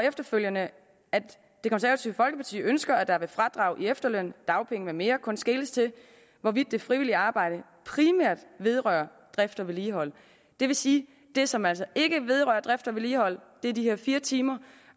efterfølgende at det konservative folkeparti ønsker at der ved fradrag i efterløn dagpenge med mere kun skeles til hvorvidt det frivillige arbejde primært vedrører drift og vedligehold det vil sige det som altså ikke vedrører drift og vedligehold er de her fire timer